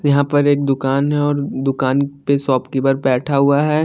यहा पर एक दुकान है और दुकान पे शॉपकीपर बैठा हुआ है।